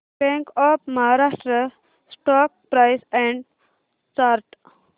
bank of Maharashtra stock price and chart